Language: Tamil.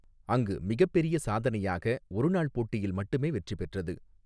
அங்கு மிகப்பெரிய சாதனையாக ஒரு நாள் போட்டியில் மட்டுமே வெற்றி பெற்றது.